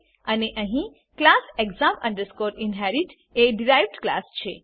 અને અહીં class exam inherit એ ડીરાઈવ્ડ ક્લાસ છે